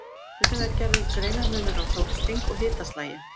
Stundum er gerður greinarmunur á sólsting og hitaslagi.